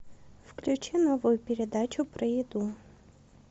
включи новую передачу про еду